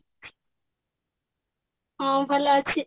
ହଁ ଭଲ ଅଛି